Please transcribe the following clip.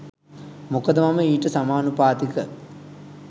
මොකද මම ඊට සමානුපාතික